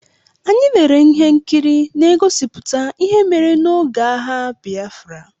Anyị lere ihe nkiri na-egosipụta ihe mere n'oge agha Bịafra.